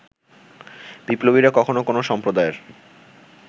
বিপ্লবীরা কখনো কোনো সম্প্রদায়ের